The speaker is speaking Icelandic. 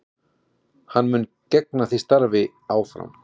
Hann mun gegna því starfi áfram